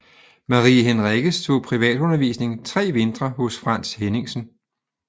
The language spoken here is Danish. Marie Henriques tog privatundervisning tre vintre hos Frants Henningsen